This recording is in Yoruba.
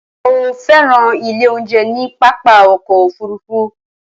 Mo fẹ́ràn ilé oúnjẹ ní pápá ọkọ̀ òfurufú